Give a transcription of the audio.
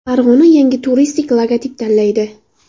Farg‘ona yangi turistik logotip tanlaydi.